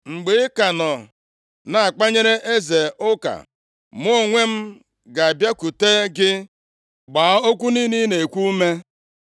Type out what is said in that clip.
Mgbe ị ka nọ na-akpanyere eze ụka, mụ onwe m ga-abịakwute gị gbaa okwu niile ị na-ekwu ume.”